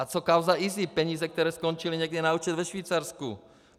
A co kauza IZIP, peníze, které skončily někde na účtech ve Švýcarsku?